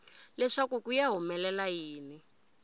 leswaku ku ta humelela yini